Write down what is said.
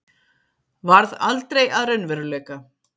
varð aldrei að raunveruleika.